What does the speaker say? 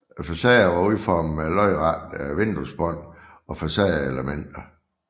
Facaderne var udformet med lodrette vinduesbånd og facadeelementer